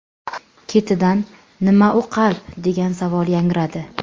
Ketidan: ‘Nima u qalb?’, degan savol yangradi.